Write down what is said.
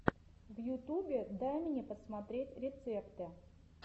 в ютубе дай мне посмотреть рецепты